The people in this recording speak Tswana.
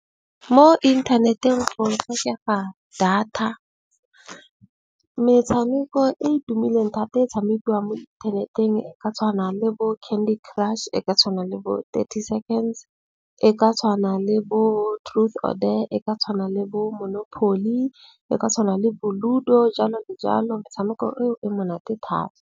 Mo inthaneteng o e tlhokela data. Metshameko e e tumileng thata e tshamekiwang mo internet-eng ka tshwana le bo Candy crush, e ka tshwana le bo 30 Seconds, e ka tshwana le bo Truth or dare, e ka tshwana le bo Monopoly, e ka tshwana le bo Ludo jalo le jalo. Metshameko e monate thata.